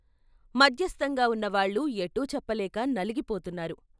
మధ్యస్థంగా ఉన్నవాళ్ళు ఎటూ చెప్పలేక నలిగి పోతున్నారు.